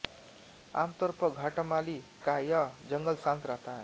आमतौर पर घटामाली का यह जंगल शांत रहता है